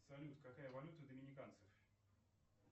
салют какая валюта у доминиканцев